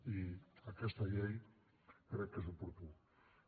i aquesta llei crec que és oportuna